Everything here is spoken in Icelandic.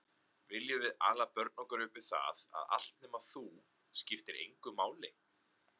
Viljum við ala börn okkar upp við það að allt nema þú, skiptir engu máli?